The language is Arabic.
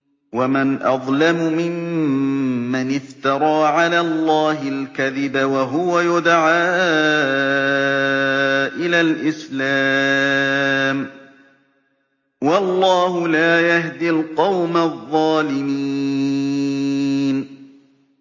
وَمَنْ أَظْلَمُ مِمَّنِ افْتَرَىٰ عَلَى اللَّهِ الْكَذِبَ وَهُوَ يُدْعَىٰ إِلَى الْإِسْلَامِ ۚ وَاللَّهُ لَا يَهْدِي الْقَوْمَ الظَّالِمِينَ